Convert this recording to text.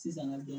Sisan ka dɔn